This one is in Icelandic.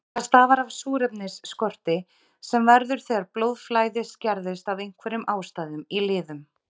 Það stafar af súrefnisskorti sem verður þegar blóðflæði skerðist af einhverjum ástæðum í liðum.